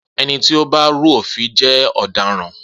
Ení tí ó bá rú òfin jé ọ̀dáran.